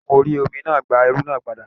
Àwon jagunjagun orí Omi náà gba ẹrù náà padà